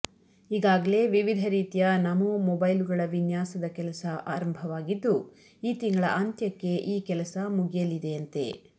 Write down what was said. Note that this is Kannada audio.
ಈಗಾಗಲೇ ವಿವಿಧ ರೀತಿಯ ನಮೋ ಮೊಬೈಲುಗಳ ವಿನ್ಯಾಸದ ಕೆಲಸ ಆರಂಭವಾಗಿದ್ದು ಈ ತಿಂಗಳ ಅಂತ್ಯಕ್ಕೆ ಈ ಕೆಲಸ ಮುಗಿಯಲಿದೆಯಂತೆ